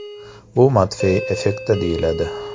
Bu Matfey effekti deyiladi.